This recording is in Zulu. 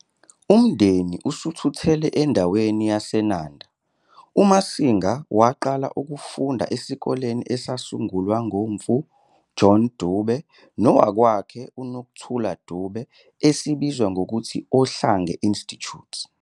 Umndeni usuthuthele endaweni yaseNanda, uMasinga waqala ukufunda esikoleni esasungulwa nguMfu John Dube nowakwakhe uNokutela Dube esibizwa ngokuthi Ohlange Institute.